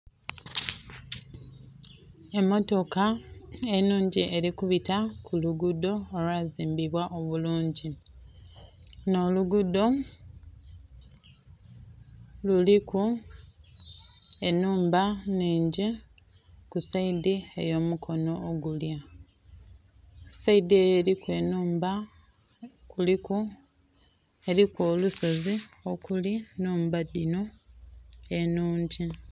Emmotoka enhungi eli kubita ku luguudho olwazimbibwa obulungi. Lunho oluguudho luliku enhumba nnhingi ku sayidi eyo mukono ogulya. Sayidi eyo eliku enhumba kuliku, eliku olusozi okuli ennhumba dhinho enhungi.